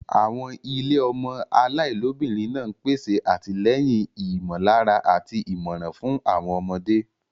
Àwọn ilé ọmọ aláìlóbìnrin náà ń pèsè àtìlẹ́yìn ìmọ̀lára àti ìmọ̀ràn fún àwọn ọmọdé.